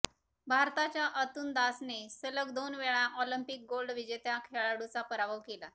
भारताच्या अतनु दासने सलग दोन वेळा ऑलिम्पिक गोल्ड विजेत्या खेळाडूचा पराभव केला